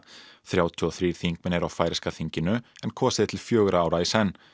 þrjátíu og þrír þingmenn eru á færeyska þinginu en kosið er til fjögurra ára í senn